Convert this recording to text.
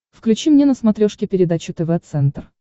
включи мне на смотрешке передачу тв центр